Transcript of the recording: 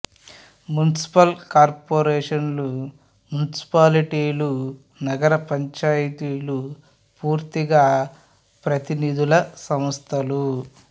municipal కార్పొరేషన్లు మునిసిపాలిటీలు నగర పంచాయతీలు పూర్తిగా ప్రతినిధుల సంస్థలు